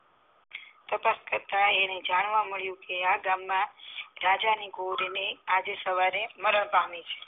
પછી એને જાણવા માળીયા કે આ ગામ માં રાજા ની ગોરી ને આજે સવારે મારણ પામી